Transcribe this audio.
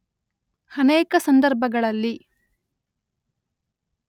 ಅನೇಕ ಸಂದರ್ಭಗಳಲ್ಲಿ